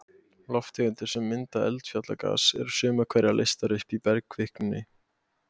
Lofttegundir sem mynda eldfjallagas, eru sumar hverjar leystar upp í bergkvikunni.